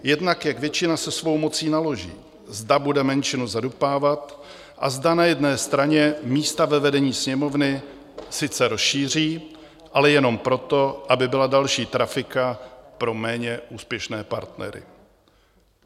Jednak jak většina se svou mocí naloží, zda bude menšinu zadupávat a zda na jedné straně místa ve vedení Sněmovny sice rozšíří, ale jenom proto, aby byla další trafika pro méně úspěšně partnery.